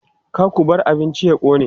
Ka ku bar abincin ya ƙone!